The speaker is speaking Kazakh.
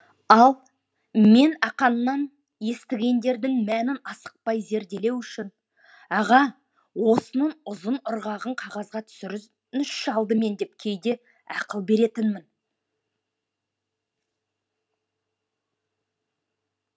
ал мен ақаңнан естігендердің мәнін асықпай зерделеу үшін аға осының ұзын ырғағын қағазға түсіріңізші алдымен деп кейде ақыл беретінмін